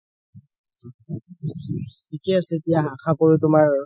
থিকে আছে দিয়া আশা কৰো তুমাৰ